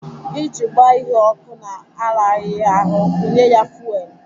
Iji gbaa ihe ọkụ na-araghị ahụ, wunye ya fuwel.